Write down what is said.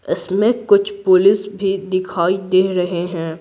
इसमें कुछ पुलिस भी दिखाई दे रहे हैं।